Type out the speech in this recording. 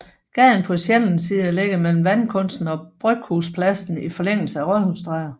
Gaden på Sjællandssiden ligger mellem Vandkunsten og Bryghuspladsen i forlængelse af Rådhusstræde